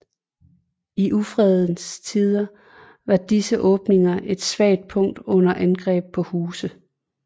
I ufredens tider var disse åbninger et svagt punkt under angreb på huset